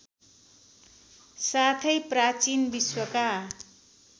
साथै प्राचीन विश्वका